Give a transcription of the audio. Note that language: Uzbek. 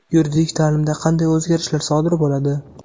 Yuridik ta’limda qanday o‘zgarishlar sodir bo‘ladi?.